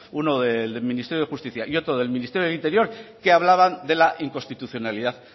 uno del ministerio de justicia y otro del ministerio del interior que hablaban de la inconstitucionalidad